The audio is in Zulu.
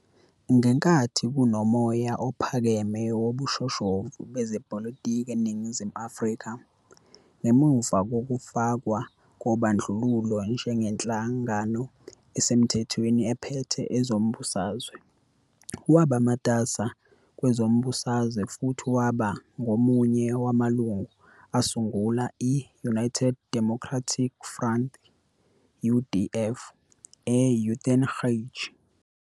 Ngenkathi kunomoya ophakeme wobushoshovu bezepolitiki eNingizimu Afrika, ngemuva kokufakwa kobandlululo njengenhlangano esemthethweni ephethe ezombusazwe, waba matasa kwezombusazwe futhi waba ngomunye wamalungu asungula i- United Democratic Front, UDF, e-Uitenhage.